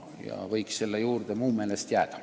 Nii et selle juurde võiks mu meelest jääda.